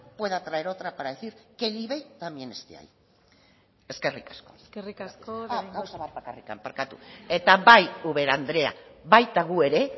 pueda traer otra para decir que el ivei también esté ahí eskerrik asko eskerrik asko de bengoechea gauza bat bakarrik barkatu eta bai ubera andrea baita gu ere